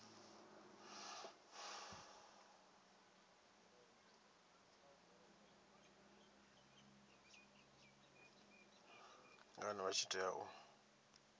ngani vha tshi tea u